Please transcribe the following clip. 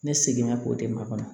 Ne seginna k'o di makɔnɔ